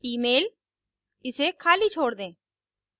emailइसे खाली छोड़ दें